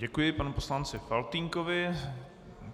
Děkuji panu poslanci Faltýnkovi.